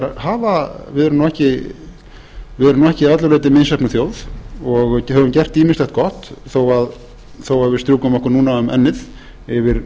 að íslendingar hafa við erum nú ekki að öllu leyti misheppnuð þjóð og höfum gert ýmislegt gott þó að við strjúkum okkur núna um ennið yfir